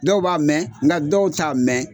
Dɔw b'a mɛ, nka dɔw t'a mɛ.